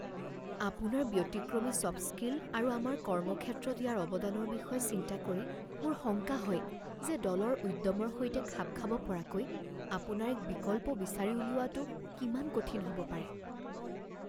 আপোনাৰ ব্যতিক্ৰমী soft skill আৰু আমাৰ কৰ্মক্ষেত্ৰত ইয়াৰ অৱদানৰ বিষয়ে চিন্তা কৰি মোৰ শংকা হয় যে দলৰ উদ্যমৰ সৈতে খাপ খাব পৰাকৈ আপোনাৰ এক বিকল্প বিচাৰি উলিওৱাটো কিমান কঠিন হ'ব পাৰে।